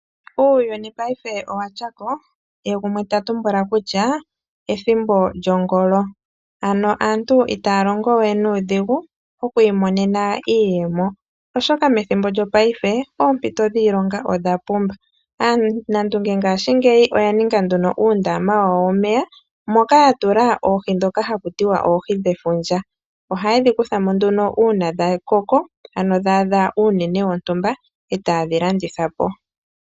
Uuyuni paife owatya ko, ye gumwe ta tumbula kutya ethimbo lyongolo. Ano aantu itaya longo we nuudhigu okwiimonena iiyemo oshoka methimbo lyopaife oompito dhiilonga odhapumba. Aanandunge ngaashingeyi oya ninga nduno uundama wawo womeya moka ya tula oohi ndhoka haku tiwa oohi dhefundja. Ohaye dhi kutha mo nduno uuna dha koko, uuna dha adha uunene wontumba etaye dhi landitha po.